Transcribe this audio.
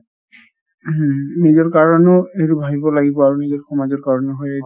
ing নিজৰ কাৰণেও এইটো ভাবিব লাগিব আৰু নিজৰ সমাজৰ কাৰণেও